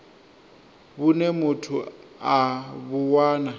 vhune muthu a vhu wana